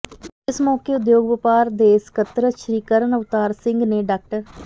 ਇਸ ਮੌਕੇ ਉਦਯੋਗ ਵਪਾਰ ਦੇ ਸਕੱਤਰ ਸ਼੍ਰੀ ਕਰਨ ਅਵਤਾਰ ਸਿੰਘ ਨੇ ਡਾ